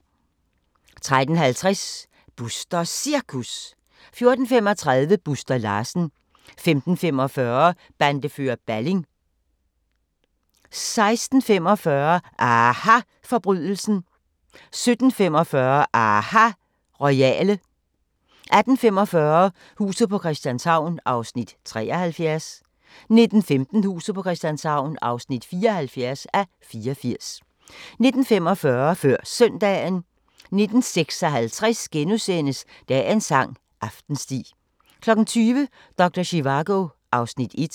13:50: Busters Cirkus 14:35: Buster Larsen 15:45: Bandefører Balling 16:45: aHA Forbrydelsen 17:45: aHA Royale 18:45: Huset på Christianshavn (73:84) 19:15: Huset på Christianshavn (74:84) 19:45: Før Søndagen 19:56: Dagens sang: Aftensti * 20:00: Doktor Zivago (Afs. 1)